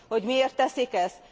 Hogy miért teszik ezt?